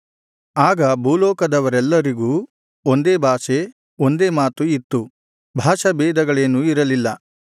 ಆಗ ಭೂಲೋಕದವರೆಲ್ಲರಿಗೂ ಒಂದೇ ಭಾಷೆ ಒಂದೇ ಮಾತು ಇತ್ತು ಭಾಷಾಭೇದಗಳೇನೂ ಇರಲಿಲ್ಲ